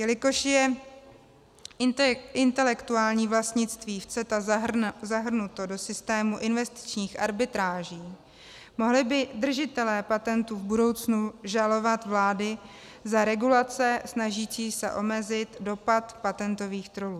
Jelikož je intelektuální vlastnictví v CETA zahrnuto do systému investičních arbitráží, mohli by držitelé patentů v budoucnu žalovat vlády za regulace snažící se omezit dopad patentových trollů.